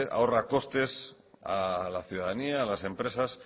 ahorra costes a la ciudadanía a las empresas